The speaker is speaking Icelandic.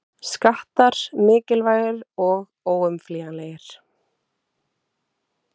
Skattar mikilvægir og óumflýjanlegir